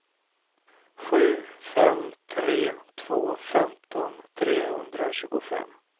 sju fem tre två femton trehundratjugofem